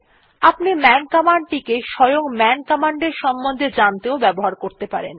আপনি man command টিকে স্বয়ং মান কমান্ড এর সম্বন্ধে জানতেও ব্যবহার করতে পারেন